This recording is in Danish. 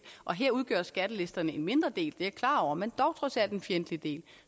og her udgør skattelisterne en mindre del det er jeg klar over men dog trods alt en fjendtlig del